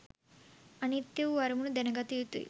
අනිත්‍ය වූ අරමුණු දැනගත යුතුයි.